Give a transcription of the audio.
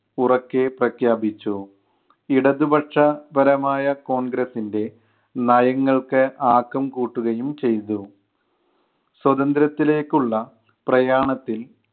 ഉറക്കെ പ്രഖ്യാപിച്ചു. ഇടതുപക്ഷപരമായ കോൺഗ്രസ്സിൻ്റെ നയങ്ങൾക്ക് ആക്കം കൂട്ടുകയും ചെയ്‌തു. സ്വതന്ത്രത്തിലേക്കുള്ള പ്രയാണത്തിൽ